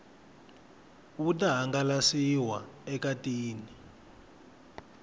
wu ta hangalasiwa eka tin